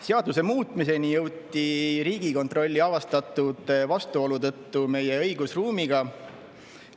Seaduse muutmiseni jõuti Riigikontrolli avastatud vastuolu tõttu meie õigusruumiga.